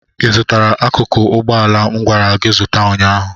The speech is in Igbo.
ị zụtara akụkụ ụgbọ ala m gwara gị zụta ụnyaahụ?